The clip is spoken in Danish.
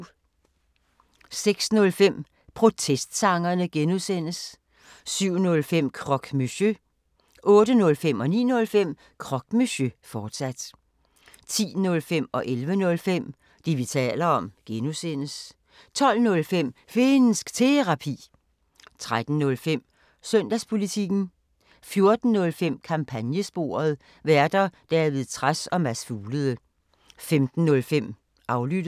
06:05: Protestsangerne (G) 07:05: Croque Monsieur 08:05: Croque Monsieur, fortsat 09:05: Croque Monsieur, fortsat 10:05: Det, vi taler om (G) 11:05: Det, vi taler om (G) 12:05: Finnsk Terapi 13:05: Søndagspolitikken 14:05: Kampagnesporet: Værter: David Trads og Mads Fuglede 15:05: Aflyttet